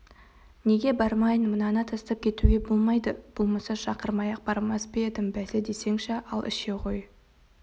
неге бармайын мынаны тастап кетуге болмайды болмаса шақырмай-ақ бармас па едім бәсе десеңші ал іше ғой